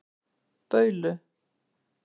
Baulu